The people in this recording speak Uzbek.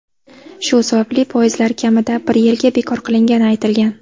Shu sababli poyezdlar kamida bir yilga bekor qilingani aytilgan.